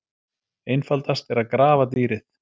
Einfaldast er að grafa dýrið.